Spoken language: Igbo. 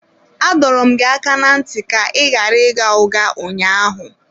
Adọrọ m gị aka ná ntị ka ị ghara ịgha ụgha ụnyaahụ.